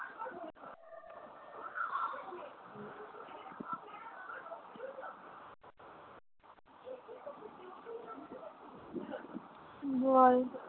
বল